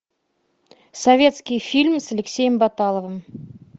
советский фильм с алексеем баталовым